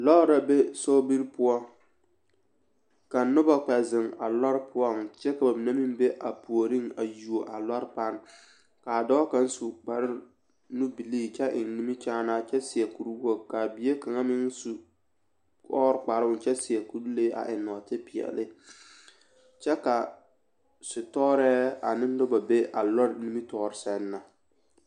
Lɔɔre la be sobiri poɔ ka noba kpɛ zeŋ a lɔre poɔŋ kyɛ ka bamine meŋ be a puoriŋ a yuo a lɔre pane k'a dɔɔ kaŋ su kpare nubilii kyɛ eŋ nimikyaanaa kyɛ seɛ kuri wogi k'a bie kaŋ meŋ su ɔɔre kparoŋ kyɛ seɛ kuri lee a eŋ nɔɔte peɛle kyɛ ka sitɔɔrɛɛ ane noba be a lɔɔre nimitɔɔre sɛŋ na.